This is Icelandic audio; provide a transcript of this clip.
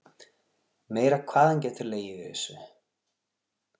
Meira hvað hann getur legið yfir þessu.